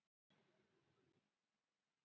Hún var einnig heitbundin trésmið að nafni Jósef.